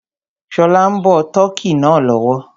Ṣọlá ń bọ tọ́kì náà lọ́wọ́